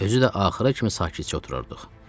Özü də axıra kimi sakitcə oturardıq.